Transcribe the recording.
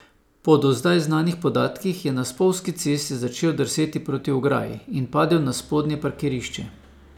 Po do zdaj znanih podatkih, je na spolzki cesti začel drseti proti ograji in padel na spodnje parkirišče.